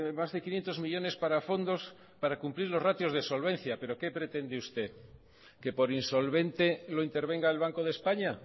más de quinientos millónes para fondos para cumplir los ratios de solvencia pero qué pretende usted que por insolvente lo intervenga el banco de españa